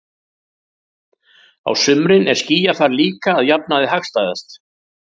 Á sumrin er skýjafar líka að jafnaði hagstæðast.